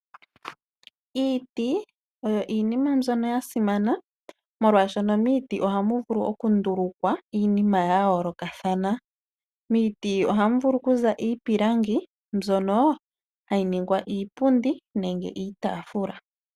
Iiti oyo iinima mbyono ya simana molwaashono miiti ohamu vulu oku ndulukwa iinima ya yoolokathana. Miiti ohamu vulu oku za iipilangi mbyono hayi ningwa iipundi nenge iitaafula.